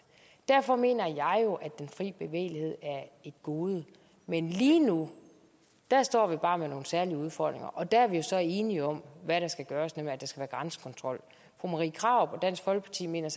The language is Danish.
derfor mener jeg jo at den fri bevægelighed er et gode men lige nu står vi bare med nogle særlige udfordringer og der er vi så enige om hvad der skal gøres nemlig at der skal være grænsekontrol fru marie krarup og dansk folkeparti mener